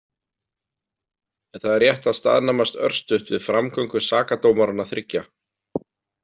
En það er rétt að staðnæmast örstutt við framgöngu sakadómaranna þriggja.